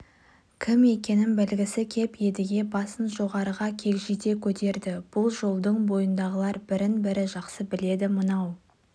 кім екенін білгісі кеп едіге басын жоғарыға кегжите көтерді бұл жолдың бойындағылар бірін-бірі жақсы біледі мынау